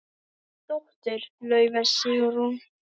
Þín dóttir, Laufey Sigrún.